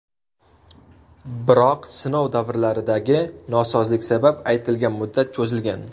Biroq sinov davridagi nosozlik sabab aytilgan muddat cho‘zilgan.